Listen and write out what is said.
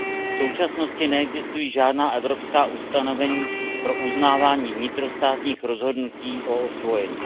V současnosti neexistují žádná evropská ustanovení pro uznávání vnitrostátních rozhodnutí o osvojení.